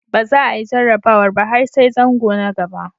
Ba za a yi jarrabawar ba har sai zango na gaba.